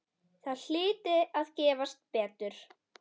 Það hlyti að gefast betur.